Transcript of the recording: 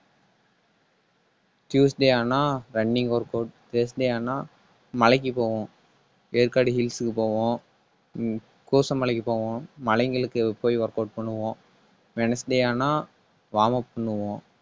tuesday ஆனா running workout thursday ஆனா, மலைக்கு போவோம். ஏற்காடு hills க்கு போவோம். ஹம் கூசம் மலைக்கு போவோம். மலைங்களுக்கு போய் workout பண்ணுவோம். wednesday ஆனா warm up பண்ணுவோம்